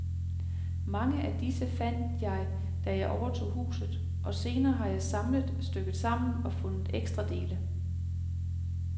Mange af disse fandt jeg, da jeg overtog huset, og senere har jeg samlet, stykket sammen og fundet ekstra dele.